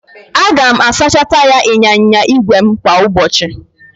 Aga m asacha taya ịnyịnya ígwè m kwa ụbọchị